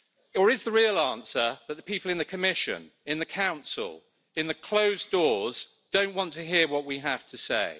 Or is the real answer that the people in the Commission, in the Council, behind the closed doors don't want to hear what we have to say?